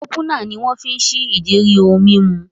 Ópúnà ni wọ́n fi ń ṣí ìdérí ohun mímu